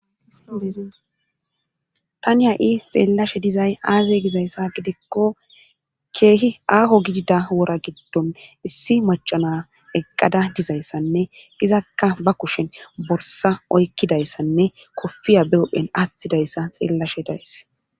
tani ya i xeellashe dizay aaze gizayssa gidikko keehi aaho gidida wora giddon issi macana eqqada dizayssanne gizakka ba kushen borsa oykkidayssanne kofiya beophen aththidayssa xeellashe days